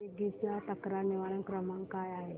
Swiggy चा तक्रार निवारण क्रमांक काय आहे